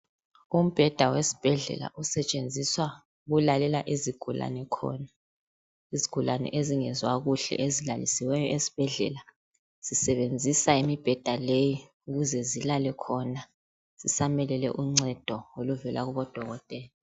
Umbheda wesibhedlela osetshenziswa ukulalela izigulane khona. Izigulane ezingezwa kuhle ezilalisiweyo esibhedlela zisebenzisa imibheda leyi ukuze zilale khona zisamelele uncedo oluvela kudokotela.